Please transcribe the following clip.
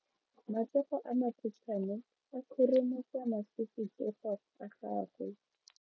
Matsogo a makhutshwane a khurumetsa masufutsogo a gago.